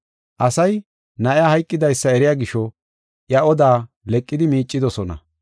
Asay na7iya hayqidaysa eriya gisho, iya oda leqidi miicidosona.